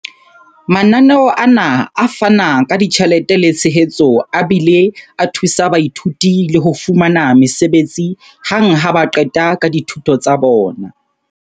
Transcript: Mananeo ana a fana ka ditjhelete le tshehetso a bile a thusa baithuti le ho fumana mesebetsi hang ha ba qeta ka dithuto tsa bona.